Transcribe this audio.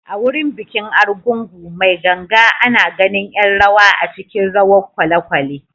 A wurin bikin Argungu mai ganga, ana ganin ’yan rawa a cikin rawar kwalekwale.